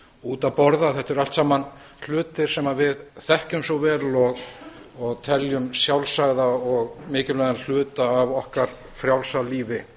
út að borða þetta eru allt saman hlutir sem við þekkjum svo vel og teljum sjálfsagða og mikilvæga hluta af okkar frjálsa lífi